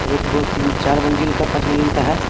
एक दो तीन चार मंजिल कापांच मंजिल का है|